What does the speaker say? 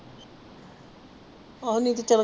ਆਹੋ ਨਹੀਂ ਬੇਚਾਰੇ